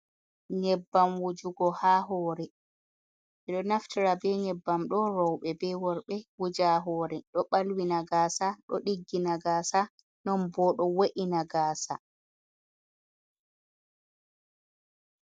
Nyebbam wujugo ha hoore, ɓe ɗo naftira be nyebbam ɗo rooɓe be worɓe wuja hoore, ɗo balwi na gaasa ɗo ɗiggi na gaasa non bo do wo’ina gaasa.